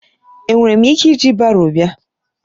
Enwere m ike iji baro bịa?